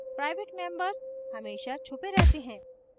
private members हमेशा छुपे रहते हैं